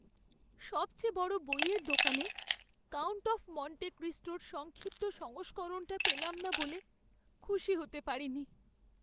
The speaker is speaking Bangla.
সবচেয়ে বড় বইয়ের দোকানে "কাউন্ট অফ মন্টে ক্রিস্টো" র সংক্ষিপ্ত সংস্করণটা পেলাম না বলে খুশি হতে পারিনি।